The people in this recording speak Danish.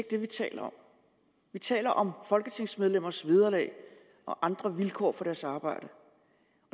det vi taler om vi taler om folketingsmedlemmers vederlag og andre vilkår for deres arbejde